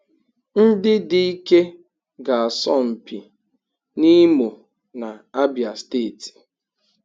Ndị dike ga-asọ mpi n'Imo na Abia steeti